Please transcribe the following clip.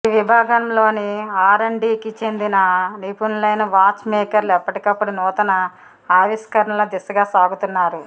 ఈ విభాగంలోని R and డీకి చెందిన నిపుణులైన వాచ్ మేకర్లు ఎప్పటికప్పుడు నూతన ఆవిష్కరణల దిశగా సాగుతున్నారు